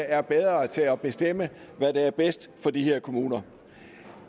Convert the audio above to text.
er bedre til at bestemme hvad der er bedst for de her kommuner